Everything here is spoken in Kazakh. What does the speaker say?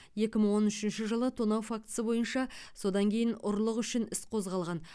екі мың он үшінші жылы тонау фактісі бойынша содан кейін ұрлық үшін іс қозғалған